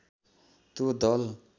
त्यो दल